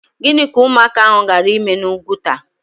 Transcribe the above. Gịnị ka ụmụaka ahụ gaara ịme n'Úgwùtà?